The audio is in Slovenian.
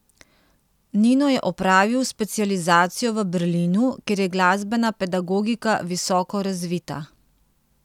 Nino je opravil specializacijo v Berlinu, kjer je glasbena pedagogika visoko razvita.